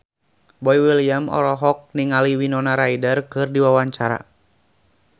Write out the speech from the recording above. Boy William olohok ningali Winona Ryder keur diwawancara